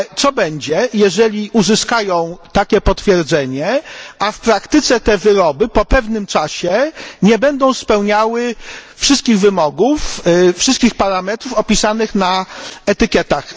Ale co będzie, jeżeli uzyskają takie potwierdzenie, a w praktyce te wyroby po pewnym czasie nie będą spełniały wszystkich wymogów, wszystkich parametrów opisanych na etykietach?